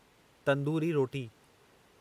तंदूरी रोटी